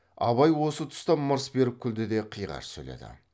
абай осы тұста мырс беріп күлді де қиғаш сөйледі